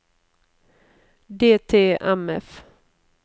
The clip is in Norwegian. DTMF